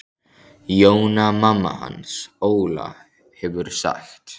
Jóna mamma hans Óla hefur sagt.